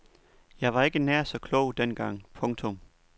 Jeg var ikke nær så klog dengang. punktum